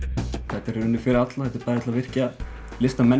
þetta er í rauninni fyrir alla bæði til að virkja listamennina